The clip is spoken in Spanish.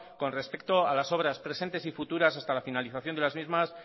con respecto a las obras presentes y futuras hasta la finalización de las mismas